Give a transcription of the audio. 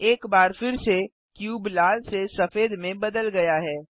एक बार फिर से क्यूब लाल से सफेद में बदल गया है